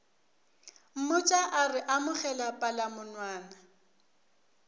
mmotša a re amogela palamonwana